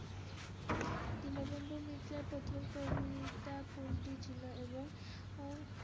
দীনবন্ধু মিত্রের প্রথম কবিতা কোনটি ছিল এবং